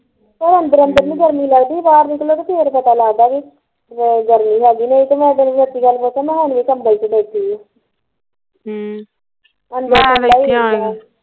ਉਹ ਅੰਦਰ ਅੰਦਰ ਨੀ ਗਰਮੀ ਲੱਗਦੀ ਜੇ ਬਾਹਰ ਨਿਕਲੋ ਤੇ ਫੇਰ ਪਤਾ ਲੱਗਦਾ ਕੀ ਵੀ ਗਰਮੀ ਹੈਗੇ ਨਹੀਂ ਮੈਂ ਹੁਣ ਦੀ ਗੱਲ ਰਾ ਤਾਂ ਮੈਂ ਹੁਣ ਵੀ ਕਮਬਲ ਚ ਬੈਠੀ ਸੀ ਹਮ